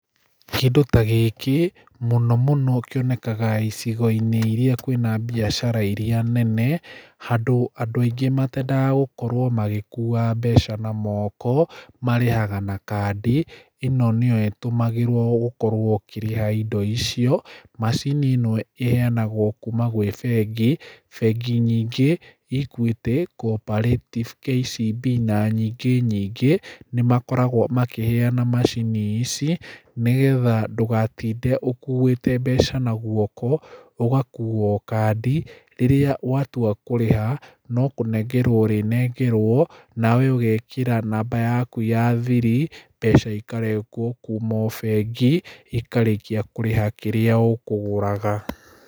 Kĩndũ ta gĩkĩ, mũno mũno kĩonekaga icigo-inĩ irĩa kwĩna biacara irĩa nene, handũ andũ aingĩ matendaga gũkorwo magĩkuua mbeca na moko, marĩhaga na kandi ĩno nĩyo ĩtũmagĩrwo gũkorwo ũkĩrĩha indo icio. Macini ĩno ĩheanagwo kuuma gwĩ bengi, bengi nyingĩ, Equity, Cooperative, KCB, na nyingĩ nyingĩ. Nĩ makoragwo makĩheana macini ici, nĩgetha ndũgatinde ũkuĩte mbeca na guoko, ũgakua o kandi, rĩrĩa watua kũrĩha, no kũnengerwo ũrĩnengerwo, nawe ũgekĩra namba yaku ya thiri, mbeca ikarengwo kuma o bengi, ikarĩkia kũrĩha kĩrĩa ũkũgũraga.